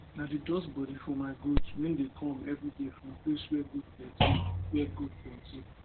i dey dust bodi for my goat when dey come everyday 4rm place wey goat plenty wey goat plenty